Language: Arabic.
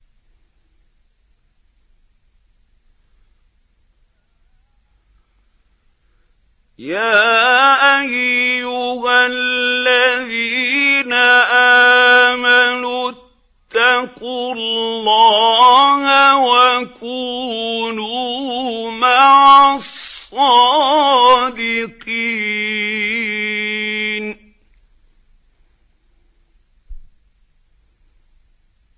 يَا أَيُّهَا الَّذِينَ آمَنُوا اتَّقُوا اللَّهَ وَكُونُوا مَعَ الصَّادِقِينَ